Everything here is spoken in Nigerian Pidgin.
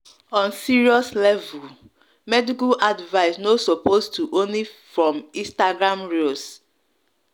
on serious level medical advice no suppose to only from instagram reels